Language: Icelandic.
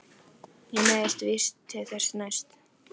Ég neyðist víst til þess næst.